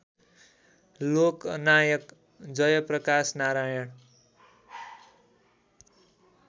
Loknayak Jayaprakash Narayan